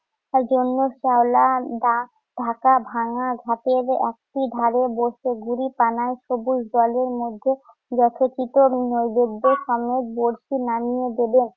তার জন্য শেওলা ঢাক~ ঢাকা ভাঙ্গা ঘাটের একটি ধারে বসে গুড়িটানা সবুজ জলের মধ্যে যথোচিত বড়শি নামিয়ে দেবেন।